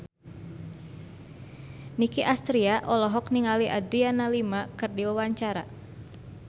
Nicky Astria olohok ningali Adriana Lima keur diwawancara